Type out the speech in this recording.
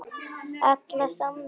Alla samveru með þér.